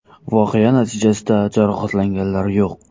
Voqea natijasida jarohatlanganlar yo‘q.